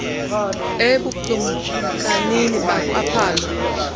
ebukl lmkanini bakwaphalo